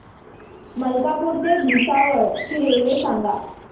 मलकापूर ते भुसावळ ची रेल्वे सांगा